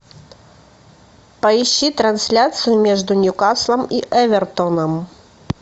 поищи трансляцию между ньюкаслом и эвертоном